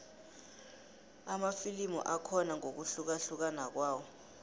amafilimu akhona ngokuhlukahlukana kwawo